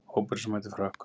Hópurinn sem mætir Frökkum